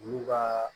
Olu ka